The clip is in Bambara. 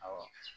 Awɔ